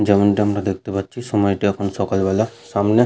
যেমনটি আমরা দেখতে পাচ্ছি সময়টা এখন সকালবেলা সামনে --